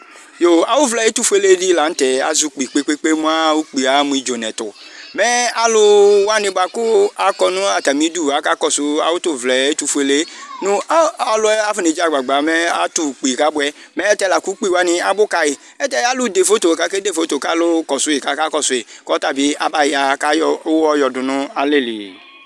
Yo awu vla ɛtufulɛdi la nu tɛ azɛ ukpi kpekpe kpekpe ukpi aɣa mu idzonɛtu mɛ aluwani akɔ nu atamidu akakɔsu awu tu vla ɛtufuele ɔliɛ edzeagba kofɔna tu ukpi kabuɛ la ku ukpiwa abu kayi ayɛlutɛalu da fofo kakakɔsu ku ɔtabi abayakayɔ uwɔ yɔdu nalɛli